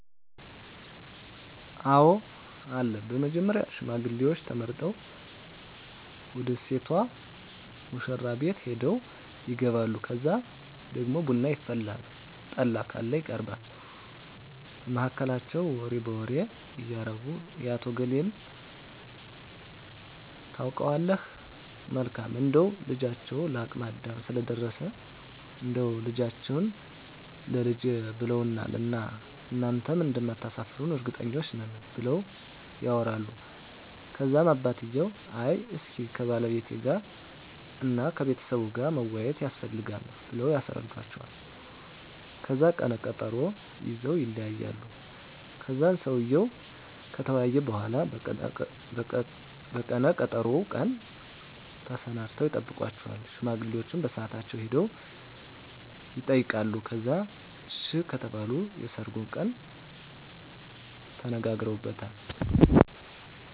አወ አለ በመጀመሪያ ሽማግሌዎች ተመርጠው ወደ ሴቷ ሙሽራቤት ሄደው ይጋባሉ ከዛ ደግሞ ቡና ይፈላል ጠላ ካለ ይቀርባል በመሀከላቸው ወሬ በወሬ እያረጉ የአቶ እገሌን ታውቀዋለህ መልካም እንደው ልጃቸው ለአቅመ አዳም ስለደረሰ እንዳው ልጃችህን ላልጄ ብለውዋን እና እናንተም እንደማታሰፍሩን እርግጠኞች ነን ብለው ያወራሉ ከዛም አባትየው አይ እስኪ ከባለቤቴ ጋር እና ከቤተሰቡ ጋር መወያያት የስፈልጋል ብለው ያስረዱዎቸዋል ከዛን ቀነ ቀጠሮ ይዘወ ይለያያሉ ከዛን ሰውየው ከተወያየ በሁላ በቀነ ቀጠሮው ቀን ተሰናድተው ይጠብቃቸዋል ሽማግሌዎቸ በሳአታቸው ሄደው የጠይቃሉ ከዛን አሺ ከተባሉ የሰርጉን ቀን ተነጋግረውበታል